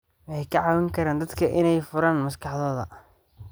Waxay ka caawin karaan dadka inay furaan maskaxdooda.